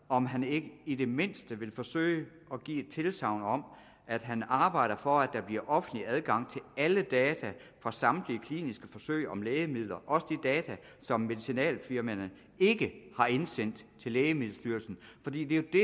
om han ikke i det mindste vil forsøge at give et tilsagn om at han arbejder for at der bliver offentlig adgang til alle data fra samtlige kliniske forsøg om lægemidler også de data som medicinalfirmaerne ikke har indsendt til lægemiddelstyrelsen for det er jo det